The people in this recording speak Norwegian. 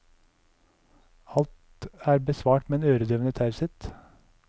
Alt er besvart med en øredøvende taushet.